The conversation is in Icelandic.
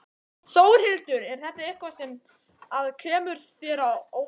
Þórhildur: Er þetta eitthvað sem að kemur þér á óvart?